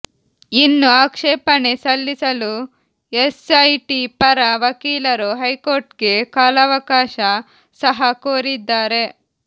ಇನ್ನು ಆಕ್ಷೇಪಣೆ ಸಲ್ಲಿಸಲು ಎಸ್ಐಟಿ ಪರ ವಕೀಲರು ಹೈಕೋರ್ಟ್ಗೆ ಕಾಲಾವಕಾಶ ಸಹ ಕೋರಿದ್ದಾರೆ